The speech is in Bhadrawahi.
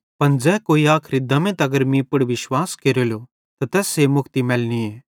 पन ज़ै कोई आखरी दम्में तगर मीं पुड़ विश्वास केरेलो त तैस्से मुक्ति मैलनीए